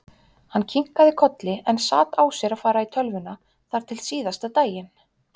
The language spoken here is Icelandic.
Hann kinkaði kolli en sat á sér að fara í tölvuna þar til síðasta daginn.